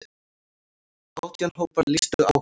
Átján hópar lýstu áhuga.